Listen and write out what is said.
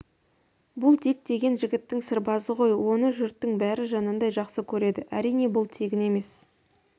бұл дик деген жігіттің сырбазы ғой оны жұрттың бәрі жанындай жақсы көреді әрине бұл тегін емес